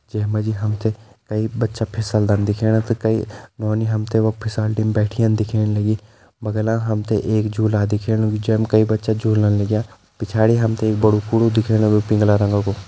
जेमा जी हमते कई बच्चा फिसलदा दिख्याणा तो कई नौनी हमते वख फिसलदी में बैठीं दिखेण लगीं बगला हमते एक झूला दिख्येणू भी छा कई बच्चा झूलना लाग्यां पिछाड़ी हमते एक बडु कूड़ु दिख्येणू पिंगला रंग कु।